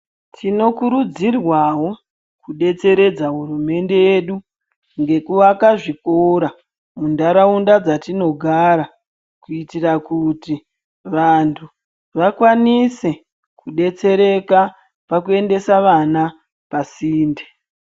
Tino kurudzirwawo kudetseredza hurumende yedu nekuvaka zvikora muntaraunda dzatinogara kuitira kuti vantu vakwanise kudetsereka pakuendesa vana pasinde.